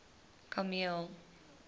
kameel